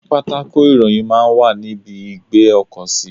Pátákò ìròyìn máa ń wà ní ibi ìgbé ọkọ̀ sí.